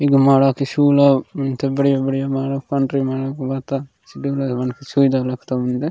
पिघमाड किसू लव इन थ बढ़िया - बढ़िया मानो पोंड्री माने बाता सिब डबला वन के सीब खातमिंद।